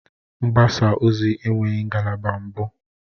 Mgbasa ozi enweghị ngalaba mbụ